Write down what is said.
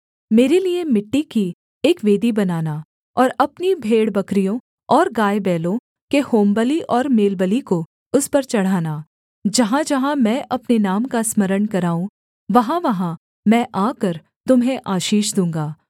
मेरे लिये मिट्टी की एक वेदी बनाना और अपनी भेड़बकरियों और गायबैलों के होमबलि और मेलबलि को उस पर चढ़ाना जहाँजहाँ मैं अपने नाम का स्मरण कराऊँ वहाँवहाँ मैं आकर तुम्हें आशीष दूँगा